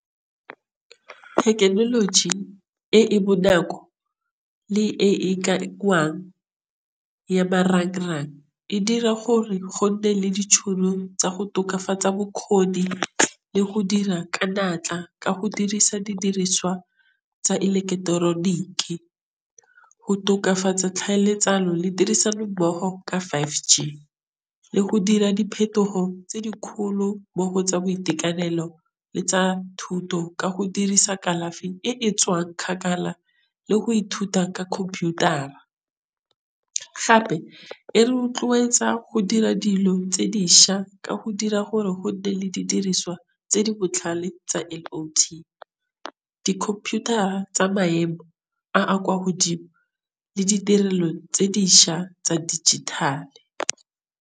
Thekenoloji e e bonako le e ya e dira gore gote le ditšhono tsa go tokafatsa bokgoni le go dira ka natla. Ka go dirisa didiriswa tsa ileketeroniki. Go tokafatsa tlhaeletsano le tirisano mmogo ka five G le go dira diphetogo tse di kgolo tsa boitekanelo le tsa thuto ka go dirisa kalafi e e tswa kgakala le go ithuta ka computer-a. Gape e rotloetsa go dira dilo tse dišwa ka go dira gore go le didiriswa tse di botlhale tsa di-computer tsa maemo a kwa godimo le ditirelo tse dišwa tsa dijithale.